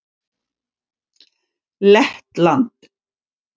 Lettland